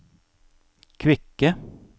kvikke